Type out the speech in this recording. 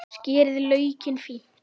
Skerið laukinn fínt.